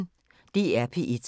DR P1